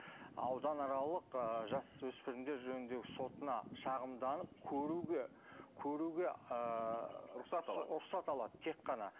ауданаралық ы жасөспірімдер жөніндегі сотына шағымданып көруге көруге ыыы рұқсат алады рұқсат алады тек қана